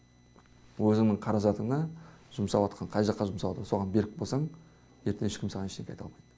өзіңнің қаражатыңа жұмсаватқан қай жаққа жұмсалды соған берік болсаң ертең ешкім саған ештеңке айта алмайды